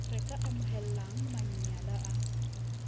re ka amohelang manyala a